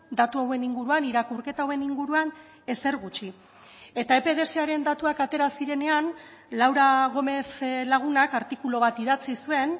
datu hauen inguruan irakurketa hauen inguruan ezer gutxi eta epdsaren datuak atera zirenean laura gómez lagunak artikulu bat idatzi zuen